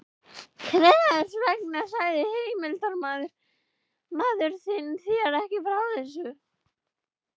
Hvers vegna sagði heimildarmaður þinn þér ekki frá þessu?